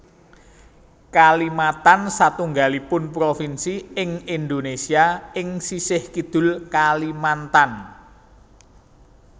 Kalimatan satunggalipun provinsi ing Indonésia ing sisih kidul Kalimantan